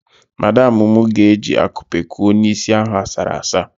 Madamụ mụ ga-eji akupe kuo n'isi ahụ asara asa.